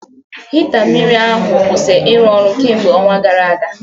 Hita mmiri ahụ kwụsịrị ịrụ ọrụ kemgbe ọnwa gara aga